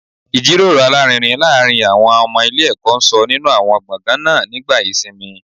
Ìjíròrò alárinrin láàárín àwọn ọmọ ilé ẹ̀kọ́ ń sọ nínú àwọn gbọ̀ngàn náà nígbà ìsinmi